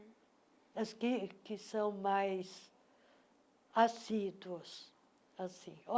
As que que são mais assíduas, assim.